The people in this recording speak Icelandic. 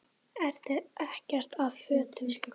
Ekkert af fötum